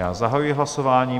Já zahajuji hlasování.